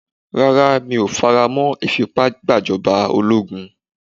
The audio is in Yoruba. Rárá, mi ò faramọ́ ìfipá gbàjọba ológun.